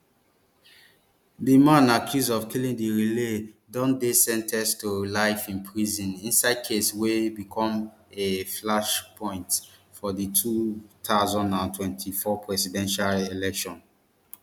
di man accused of killing riley don dey sen ten ced to life in prison inside case wey become a flashpoint for di two thousand and twenty-four presidential election